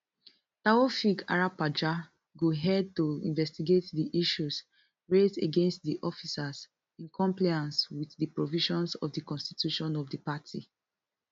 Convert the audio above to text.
taofeek arapaja go head to investigate di issues raised against di officers in compliance wit di provisions of di constitution of di party